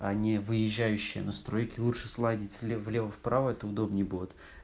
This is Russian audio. а не выезжающие настройки лучше сладить слева влево вправо это удобнее будет